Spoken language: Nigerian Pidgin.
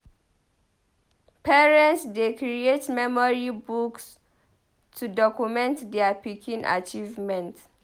Parents dey create memory books to document dier pikin achievement.